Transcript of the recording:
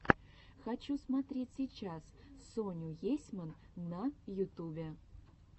хочу смотреть сейчас соню есьман на ютубе